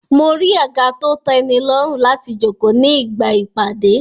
Mo rí àga to tẹ́nilọ́rùn láti jókòó ní ìgbà ìpàdé